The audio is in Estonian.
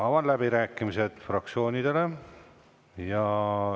Avan läbirääkimised fraktsioonidele.